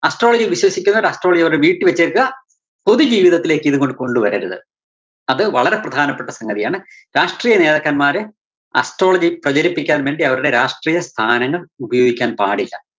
astrology യില്‍ വിശ്വസിക്കുന്നവര്‍ astrology അവരുടെ വീട്ടില്‍ വച്ചെക്കുവ, പൊതു ജീവിതത്തിലേക്ക് ഇതങ്ങട് കൊണ്ടുവരരുത്. അത് വളരെ പ്രധാനപ്പെട്ട സംഗതിയാണ് രാഷ്ട്രീയ നേതാക്കന്മാരെ astrology പ്രചരിപ്പിക്കാന്‍ വേണ്ടി അവരുടെ രാഷ്ട്രീയ സ്ഥാനങ്ങള്‍ ഉപയോഗിക്കാന്‍ പാടില്ല.